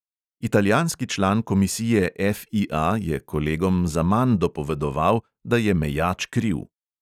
Italijanski član komisije FIA je kolegom zaman dopovedoval, da je mejač kriv.